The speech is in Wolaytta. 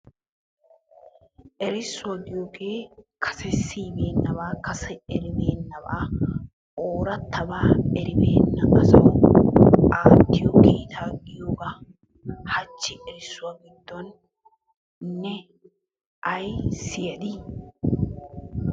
Erssuwaa giyogge kase siyibenabba kase eribenabba orattaba eribbena asawu aattiyo kiitta giyoogga. Hachchi erssuwaa giddoni ne ay siyaddi?